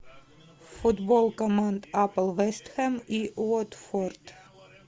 футбол команд апл вест хэм и уотфорд